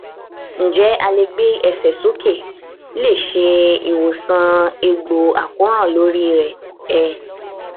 njẹ a le gbe ẹsẹ um soke le se iwosan egbo akoran lori re um